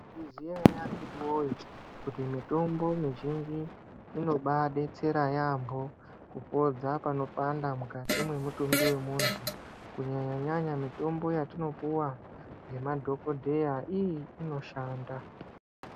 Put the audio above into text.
Maizviziya ere akhiti woye kuti mitombo mizhinji inobadetsera yaambo kupodza panopanda mukati mwemutumbi womuntu kunyanya nyanya mutombo yatopuwa ngemadhokodheya iii inoshanda.